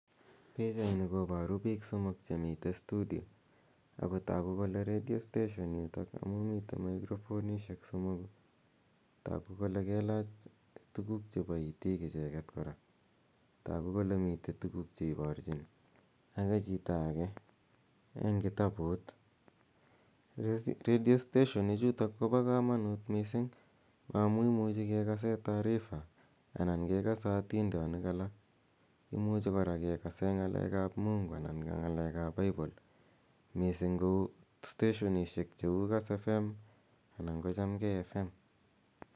Pichanini koparu piik somok che mitei studi. Ako tagu kole redio station yutok amu mitei mikrofonishek somoku. Tagu kole kelach tuguk chepa itik kora icheget. Tagu kole mitei tuguk che iparchin age chito age eng' kitaput. Redio station ichutok ko pa kamanut missing' amu imuchi kekase taarifa ana kekase atindonik alak. Imuchi kora kekase ng'alek ap Mungu anan ko ng'alek ap Bible missing' ko steshonishek cheu Kass fm anan ko Chamgei fm.